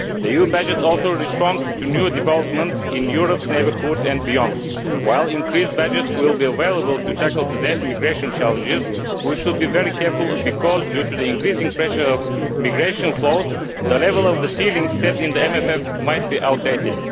The EU budget also responds to new developments in Europe's neighbourhood and beyond. While an increased budget will be available to tackle today's immigration challenges, we should be very careful, because the increasing pressure of migration flows means that the level of the ceiling set in the MFF could be outdated.